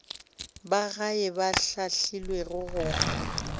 ba gae ba hlahlilwego go